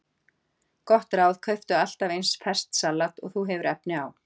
Gott ráð: Kauptu alltaf eins ferskt salat og þú hefur efni á.